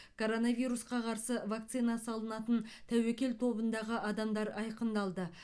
коронавирусқа қарсы вакцина салынатын тәуекел тобындағы адамдар айқындалды